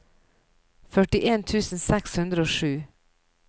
førtien tusen seks hundre og sju